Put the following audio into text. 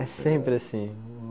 É sempre assim.